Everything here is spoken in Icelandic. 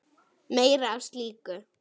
Meira af slíku!